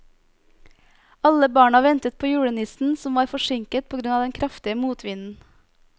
Alle barna ventet på julenissen, som var forsinket på grunn av den kraftige motvinden.